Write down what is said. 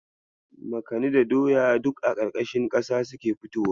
Makani da doya duk a ƙarƙashin kasa suke fitowa.